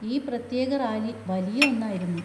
ഈ പ്രത്യേക റാലി വലിയ ഒന്നായിരുന്നു.